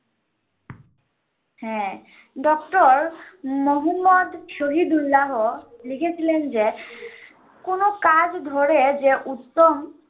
হ্যাঁ Dr. মুহাম্মদ শহীদুল্লাহ্ লিখেছিলেন যে, কোনো কাজ ধরে যে উত্তম